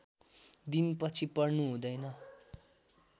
दिन पछि पर्नु हुँदैन